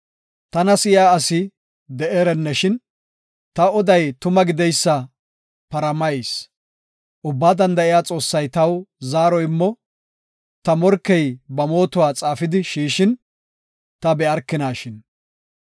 “Tana si7iya asi de7eerenneshin, Ta oday tuma gideysa paramayis; Ubbaa Danda7iya Xoossay taw zaaro immo Ta morkey ba mootuwa xaafidi shiishin ta be7arkinashin.